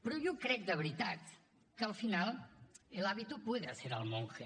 però jo crec de veritat que al final el hábito puede hacer al monje